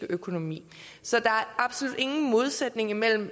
økonomi så der er absolut ingen modsætning mellem